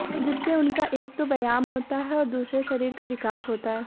जिससे उनका एक तो व्यायाम होता है और दूसरा शरीर का विकास होता है